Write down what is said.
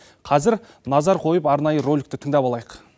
қазір назар қойып арнайы роликті тыңдап алайық